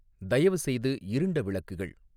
தயவுசெய்து இருண்ட விளக்குகள்